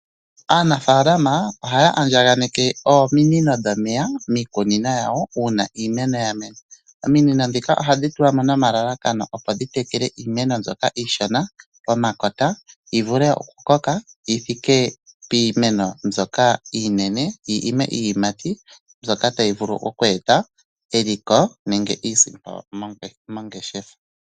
Aanafalama ohaya andjaneke ominino dhomeya miikunino yawo uuna iimeno yamena . Ominino ndhika ohadhi tulwamo nomalalakano opo dhitekele iimeno mbyoka iishona pomakota yivule oku koka yithike piimeno mbyoka iinene . Yi ime iiyimati mbyoka tayi vulu okweeta eliko nenge iisimpo mongeshefa.